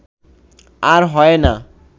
আর হয় না